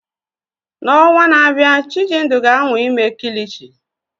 N'ọnwa na-abịa, Chijindu ga-anwa ime kilichi.